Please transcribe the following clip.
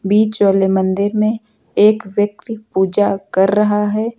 बीच वाले मंदिर में एक व्यक्ति पूजा कर रहा है।